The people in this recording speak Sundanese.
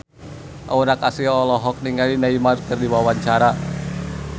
Aura Kasih olohok ningali Neymar keur diwawancara